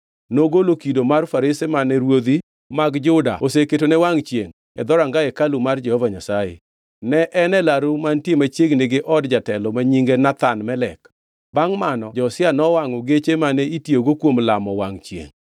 Nogolo kido mar farese mane ruodhi mag Juda oseketone wangʼ chiengʼ e dhoranga hekalu mar Jehova Nyasaye. Ne gin e laru mantie machiegni gi od jatelo ma nyinge Nathan-Melek. Bangʼ mano Josia nowangʼo geche mane itiyogo kuom lamo wangʼ chiengʼ.